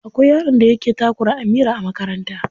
Akwai yaron da yake takura Amira a makaranta.